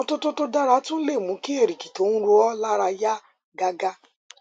ìmọtótó tó dára tún lè mú kí èrìgì tó ń ro ọ lára yá gágá